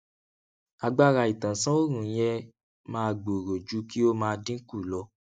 agbára ìtánsánòòrùn yẹ máa gbòòrò ju kí ó máa dínkù lọ